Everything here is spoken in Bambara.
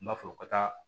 N b'a fɔ u ka taa